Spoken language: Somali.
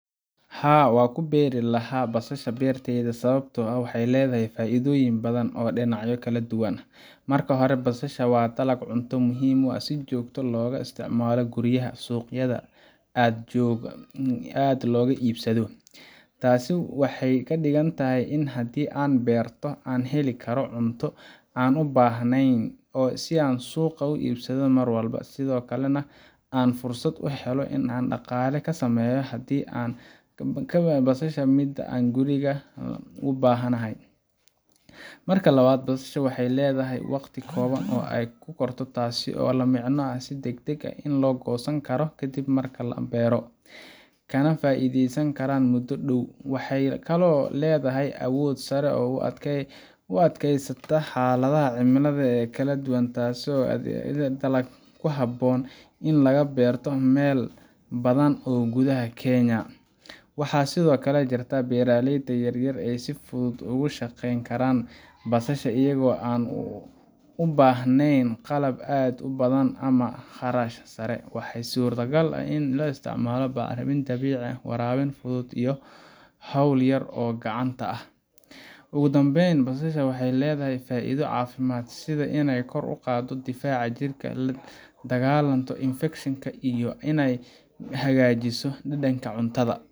Haa, waxaan ku beeri lahaa basasha beertayda sababtoo ah waxay leedahay faa’iidooyin badan oo dhinacyo kala duwan ah. Marka hore, basasha waa dalag cunto muhiim ah oo si joogto ah looga isticmaalo guryaha, suuqyadana aad looga iibsado. Taasi waxay ka dhigan tahay in haddii aan beerto, aan heli karo cunto aan u baahnayn in aan suuqa ka iibsado mar walba, sidoo kalena aan fursad u helayo in aan dhaqaale ka sameeyo haddii aan ka badsado midda aan guriga u baahanahay. Marka labaad, basasha waxay leedahay waqti kooban oo ay ku korto taasoo la micno ah in aan si degdeg ah u goosan karo ka dib marka aan beero, kana faa’iideysan karo muddo dhow. Waxay kaloo leedahay awood sare oo u adkeysata xaaladaha cimilada ee kala duwan, taasoo ka dhigaysa dalag ku habboon in laga beerto meelo badan oo gudaha Kenya ah. Waxaa sidoo kale jirta in beeraleyda yaryar ay si fudud ugu shaqeyn karaan basasha iyagoo aan u baahnayn qalab aad u badan ama kharash sare. Waxaa suurtagal ah in la isticmaalo bacrimin dabiici ah, waraabin fudud, iyo hawl yar oo gacanta ah. Ugu dambeyn, basasha waxay leedahay faa’iido caafimaad sida inay kor u qaaddo difaaca jirka, la dagaallanto infekshanka, iyo inay hagaajiso dhadhanka cuntada.